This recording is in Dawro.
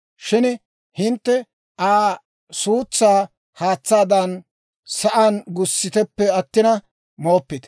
Shin hintte Aa suutsaa haatsaadan sa'aan gussiteppe attina, mooppite.